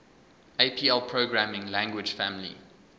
apl programming language family